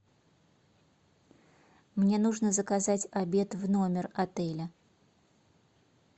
мне нужно заказать обед в номер отеля